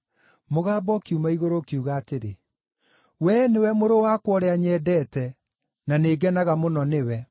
Mũgambo ũkiuma igũrũ ũkiuga atĩrĩ, “We nĩwe Mũrũ wakwa ũrĩa nyendete, na nĩngenaga mũno nĩwe.”